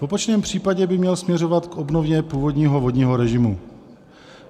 V opačném případě by měl směřovat k obnově původního vodního režimu.